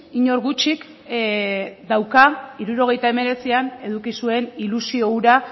inork gutxik dauka hirurogeita hemeretzian eduki zuen ilusio hura